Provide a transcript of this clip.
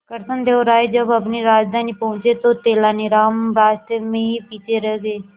कृष्णदेव राय जब अपनी राजधानी पहुंचे तो तेलानीराम रास्ते में ही पीछे रह गए